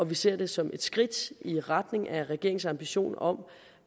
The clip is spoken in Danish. vi ser det som et skridt i retning af regeringens ambition om